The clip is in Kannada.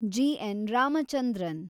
ಜಿ. ನ್. ರಾಮಚಂದ್ರನ್